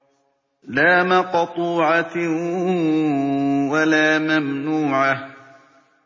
لَّا مَقْطُوعَةٍ وَلَا مَمْنُوعَةٍ